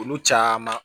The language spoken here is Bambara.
Olu caman